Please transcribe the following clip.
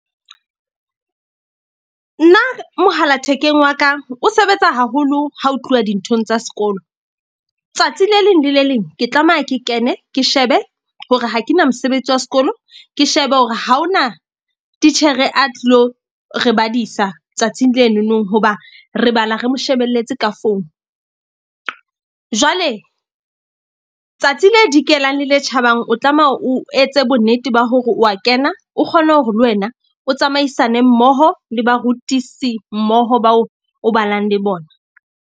Nna mohala thekeng wa ka, o sebetsa haholo ha ho tluwa dinthong tsa sekolo. Tsatsi le leng le le leng ke tlameha ke kene ke shebe hore ha ke na mosebetsi wa sekolo. Ke shebe hore haona titjhere a tlilo re badisa tsatsing leno nong. Hoba re bala, re mo shebelletse ka phone. Jwale tsatsi le dikelang le le tjhabang. O tlameha o etse bonnete ba hore wa kena, o kgone hore le wena o tsamaisane mmoho le barutisi mmoho bao o balang le bona.